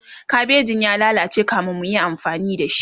kabejin ya lallace kamin muyi amfani da shi